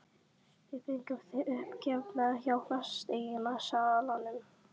Við fengum þig uppgefna hjá fasteignasalanum.